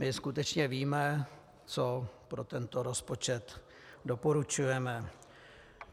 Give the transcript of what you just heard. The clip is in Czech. My skutečně víme, co pro tento rozpočet doporučujeme.